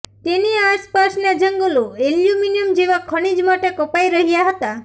તેની આસપાસનાં જંગલો એલ્યુમિનિયમ જેવાં ખનિજ માટે કપાઈ રહ્યાં હતાં